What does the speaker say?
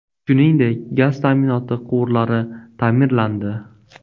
Shuningdek, gaz ta’minoti quvurlari ta’mirlandi.